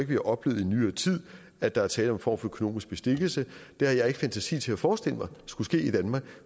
vi har oplevet i nyere tid at der er tale om for økonomisk bestikkelse det har jeg ikke fantasi til at forestille mig skulle ske i danmark